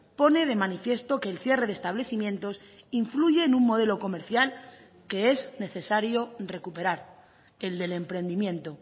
pone de manifiesto que el cierre de establecimientos influye en un modelo comercial que es necesario recuperar el del emprendimiento